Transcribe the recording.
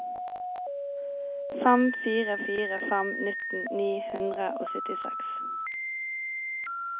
fem fire fire fem nitten ni hundre og syttiseks